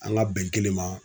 An ka bɛn kelen ma.